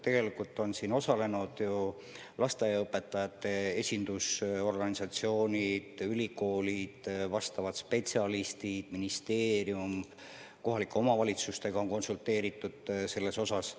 Tegelikult on selles töös osalenud lasteaiaõpetajate esindusorganisatsioonid, ülikoolid, vastavad spetsialistid, ministeerium, ka kohalike omavalitsustega on konsulteeritud.